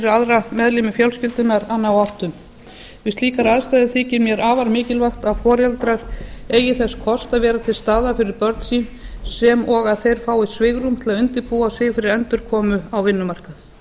aðra meðlimi fjölskyldunnar að ná áttum við slíkar aðstæður þykir mér afar mikilvægt að foreldrar eigi þess kost að vera til staðar fyrir börn sín sem og að þeir fái svigrúm til að undirbúa sig fyrir endurkomu á vinnumarkað